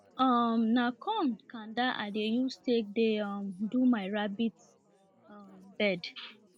um na corn kanda i dey use take dey um do my rabbit um bed